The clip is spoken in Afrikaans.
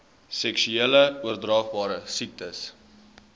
seksueel oordraagbare infeksies